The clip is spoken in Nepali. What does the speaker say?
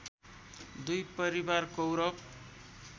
दुई परिवार कौरव